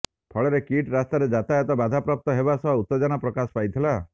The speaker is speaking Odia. ଫଳରେ କିଟ୍ ରାସ୍ତାରେ ଯାତାୟାତ ବାଧାପ୍ରାପ୍ତ ହେବା ସହ ଉତ୍ତେଜନା ପ୍ରକାଶ ପାଇଥିଲା